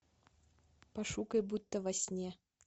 пошукай будто во сне